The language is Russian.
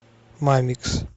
мамикс